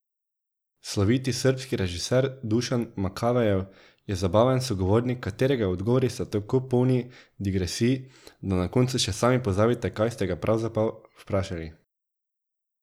Sloviti srbski režiser Dušan Makavejev je zabaven sogovornik, katerega odgovori so tako polni digresij, da na koncu še sami pozabite, kaj ste ga pravzaprav vprašali.